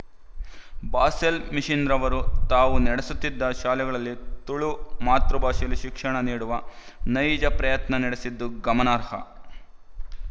Basel ಮಿಶನ್‍ನವರು ತಾವು ನಡೆಸುತ್ತಿದ್ದ ಶಾಲೆಗಳಲ್ಲಿ ತುಳು ಮಾತೃಭಾಷೆಯಲ್ಲಿ ಶಿಕ್ಷಣ ನೀಡುವ ನೈಜ ಪ್ರಯತ್ನ ನಡೆಸಿದ್ದು ಗಮನಾರ್ಹ